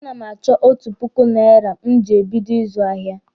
A na m achọ otu puku naira m ji ebido ịzụ ahịa.